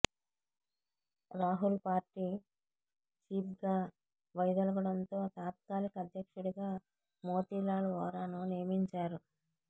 Rahul party చీఫ్గా వైదొలగడంతో తాత్కాలిక అధ్యక్షుడిగా మోతీలాల్ వోరాను నియమించారు